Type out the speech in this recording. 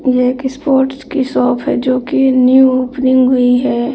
ये एक स्पोर्ट्स की शॉप है जो कि न्यू ओपनिंग हुई है।